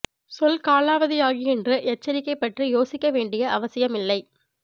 சொல் காலாவதியாகி என்று எச்சரிக்கை பற்றி யோசிக்க வேண்டிய அவசியம் இல்லை